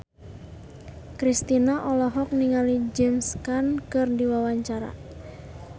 Kristina olohok ningali James Caan keur diwawancara